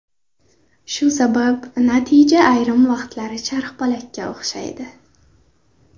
Shu sabab natija ayrim vaqtlari charxpalakka o‘xshaydi.